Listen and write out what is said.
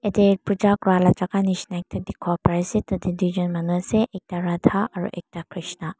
Yatae Puja kura laga jaka nishina dikipo pari asae tadae tuijun Manu asae ekta Radha aro ekta Krishna.